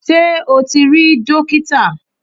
Ṣé o ti rí dókítà?